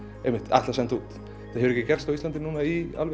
ætla að senda út þetta hefur ekki gerst á Íslandi í